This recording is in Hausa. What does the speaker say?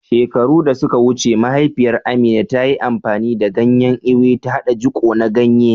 Shekaru da suka wuce, mahaifiyar Amina, ta yi amfani da ganyen Ewe, ta haɗa jiko na ganye.